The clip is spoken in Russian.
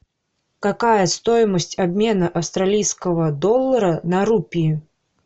какая стоимость обмена австралийского доллара на рупии